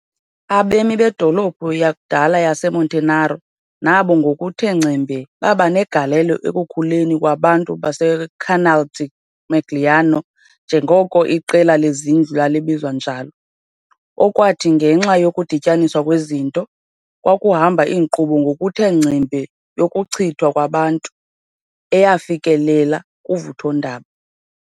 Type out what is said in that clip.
Abemi bedolophu yakudala yaseMonterano nabo ngokuthe ngcembe baba negalelo ekukhuleni kwabantu baseCanale di Magliano, njengoko iqela lezindlu lalibizwa njalo, okwathi, ngenxa yokudityaniswa kwezinto, kwakuhamba inkqubo ngokuthe ngcembe yokuchithwa kwabantu, eyafikelela kuvuthondaba.